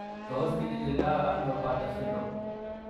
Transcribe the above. Tos kichikildo ono Bartter syndrome?